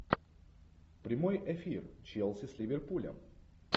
прямой эфир челси с ливерпулем